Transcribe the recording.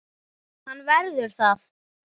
Hann verður það.